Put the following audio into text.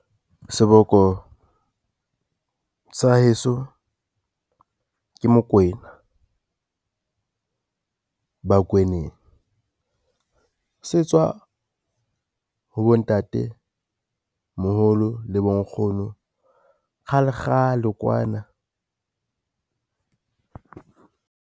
Seboko sa heso ke Mokwena, bakweneng se tswa ha bontatemoholo le bonkgono kgale kgale kwana.